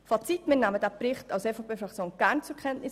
Fazit: Die EVP-Fraktion nimmt diesen Bericht gerne zur Kenntnis.